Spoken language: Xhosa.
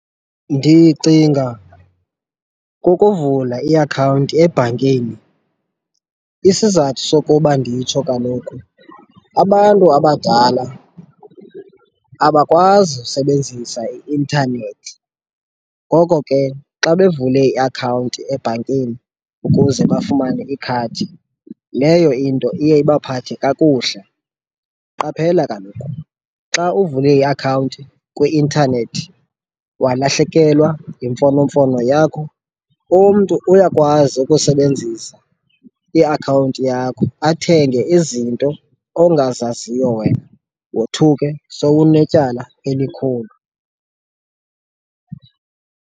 Ndicinga kukuvula iakhawunti ebhankini. Isizathu sokuba nditsho kaloku abantu abadala abakwazi usebenzisa i-intanethi, ngoko ke xa bevule iakhawunti ebhankini ukuze bafumane ikhadi, leyo into iye ibaphathe kakuhle. Qaphela kaloku xa uvule iakhawunti kwi-intanethi walahlekelwa yimfonomfono yakho, umntu uyakwazi ukusebenzisa iakhawunti yakho athenge izinto ongazaziyo wena, wothuke sokunetyala elikhulu.